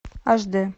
аш дэ